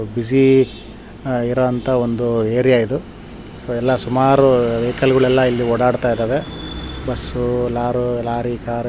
ಇದು ಬ್ಯುಸಿ ಇರೋ ಅಂತ ಒಂದು ಏರಿಯಾ ಇದು ಸೊ ಸುಮಾರು ವೆಹಿಕಲ್ ಗಳೆಲ್ಲ ಇಲ್ಲಿ ಓಡಾಡ್ತಾ ಇದಾವೆ ಬಸ್ ಲಾರೋ ಲಾರಿ ಕಾರ್ --